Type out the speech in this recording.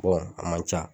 a man ca